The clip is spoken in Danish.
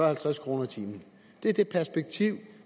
halvtreds kroner i timen det er det perspektiv